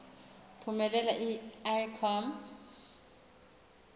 phumelela i com